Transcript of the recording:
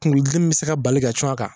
Kunkolodimi bɛ se ka bali ka cun a kan